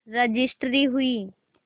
registry हुई